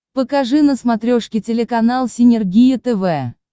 покажи на смотрешке телеканал синергия тв